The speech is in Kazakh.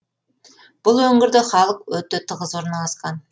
бұл өңірде халық өте тығыз орналасқан